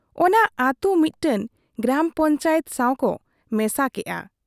ᱚᱱᱟ ᱟᱹᱛᱩ ᱢᱤᱫᱴᱟᱝ ᱜᱨᱟᱢ ᱯᱚᱧᱪᱟᱭᱮᱛ ᱥᱟᱣᱠᱚ ᱢᱮᱥᱟ ᱠᱮᱫ ᱟ ᱾